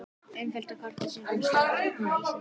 Innfellda kortið sýnir staðsetninguna á Íslandskorti.